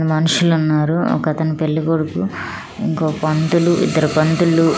మనుషులున్నారు ఒకతను పెళ్లికొడుకు ఇంకో పంతులు ఇద్దరు పంతులు--